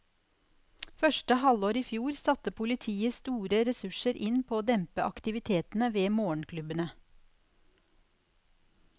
Første halvår i fjor satte politiet store ressurser inn på å dempe aktivitetene ved morgenklubbene.